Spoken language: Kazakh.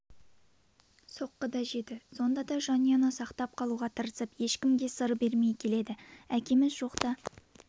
соққы да жеді сонда да жанұяны сақтап қалуға тырысып ешкімге сыр бермей келеді әкеміз жоқта